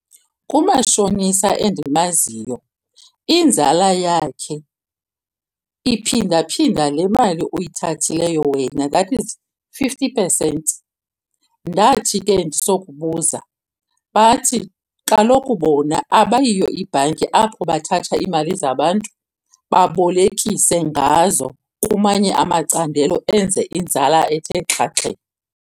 Kumashonisa endimaziyo inzala yakhe iphinda-phinda le mali uyithathileyo wena, that is fifty percent. Ndathi ke ndisokubuza bathi, kaloku bona abayiyo ibhanki apho bathatha iimali zabantu babolekise ngazo kumanye amacandelo enze inzala ethe xhaxhe.